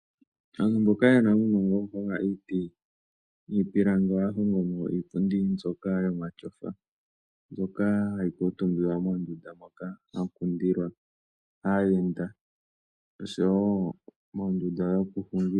Aantu mboka yena uunongo wokuhonga iiti niipilangi, ohaya hongomo iipundi mbyoka yomatyofa, mbyono hayi kuuntumbiwa moondunda moka hamu kundilwa aayenda, noshowo moondunda dhokuhungila.